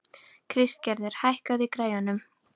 Kristgerður, hækkaðu í græjunum.